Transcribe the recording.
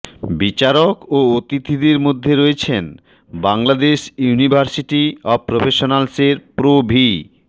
বিচারক ও অতিথিদের মধ্যে রয়েছেন বাংলাদেশ ইউনিভার্সিটি অব প্রফেশনালস এর প্রো ভি